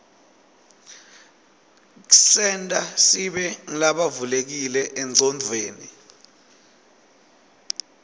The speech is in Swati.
ksenta sibe ngulabavulekile enqcondweni